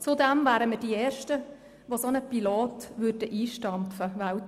Zudem wären wir die ersten weltweit, die ein solches Pilotprogramm einstampfen würden.